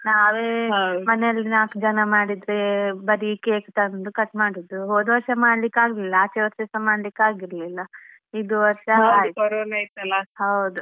ನಾವೇ ಮನೆಯಲ್ಲಿ ನಾಲ್ಕು ಜನ ಮಾಡಿದ್ರೆ ಬರೀ cake ತಂದು cut ಮಾಡುದು ಹೋದ್ವರ್ಷ ಮಾಡ್ಲಿಕ್ ಆಗ್ಲಿಲ್ಲ ಆಚೆ ವರ್ಷಸ ಮಾಡ್ಲಿಕ್ ಆಗಿರ್ಲಿಲ್ಲ ಇದು ವರ್ಷ ಹೌದು.